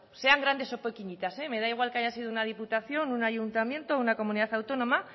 sean grandes o pequeñitas me da igual que haya sido una diputación un ayuntamiento o una comunidad autónoma